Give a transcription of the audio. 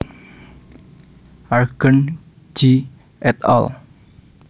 Argent G et al